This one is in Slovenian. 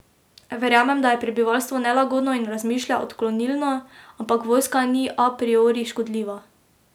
Verjamem, da je prebivalstvu nelagodno in razmišlja odklonilno, ampak vojska ni a priori škodljiva.